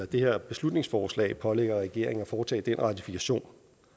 det her beslutningsforslag pålægger regeringen at foretage den ratifikation